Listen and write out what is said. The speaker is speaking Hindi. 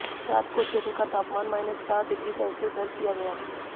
रात को क्षेत्र का तापमान माइनस चार डिग्री सेल्सियस दर्ज किया गया